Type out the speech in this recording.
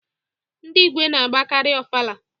Ndị Igwe na-agbakari Ọfala.